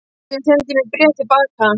Einar sendi mér bréf til baka.